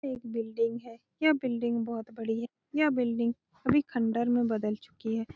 यह एक बिल्डिंग है यह बिल्डिंग बोहोत बड़ी है यह बिल्डिंग अभी खंडर में बदल चूकी है।